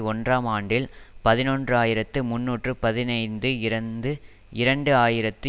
ஒன்றாம் ஆண்டில் பதினொன்று ஆயிரத்தி முன்னூற்று பதினைந்து இருந்து இரண்டு ஆயிரத்தி